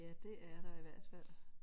Ja det er der i hvert fald